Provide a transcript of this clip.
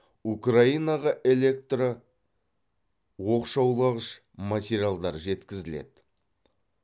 украинаға электроқшаулағыш материалдар жеткізіледі